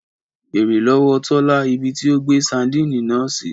Bèèrè lọ́wọ́ Tọ́lá ibí tí ó gbé sadínì náà sí!